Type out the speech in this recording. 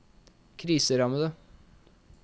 kriserammede